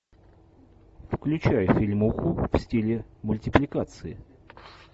включай фильмуху в стиле мультипликации